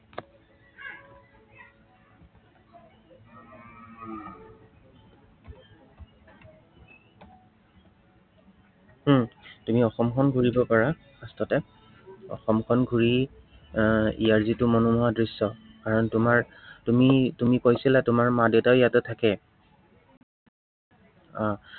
উম তুমি অসমখন ঘুৰিব পাৰা। first তে। আহ অসমখন ঘূৰি এৰ ইয়াৰ যিটে মনোমোহা দৃশ্য়, কাৰন তোমাৰ, তুমি তুমি কৈছিলা তোমাৰ মা-দেউতাও ইয়াতে থাকে। আহ